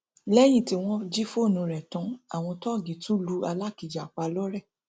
lẹyìn tí wọn jí fóònù rẹ tán àwọn tóògì tún lu alákìjà pa lọrẹ